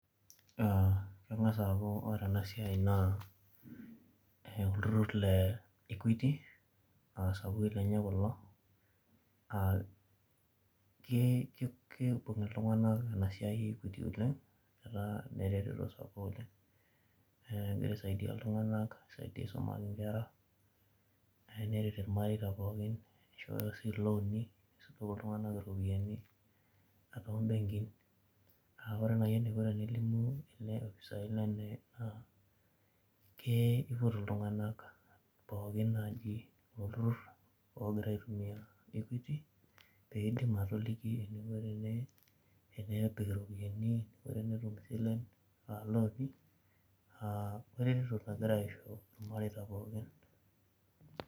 Kengas aaku ore ena siai naa olturur le [equity] aa isapukin lenye kulo kiibung iltunganak ena siai oleng amu keretito iltunganak aisumaki inkera, nishooyo sii ilooni nisho iltunganak iropiani toombenkii ,kiturur iltunganak peedim atoliki piishoyo ilooni weretoto nagira aisho irmareita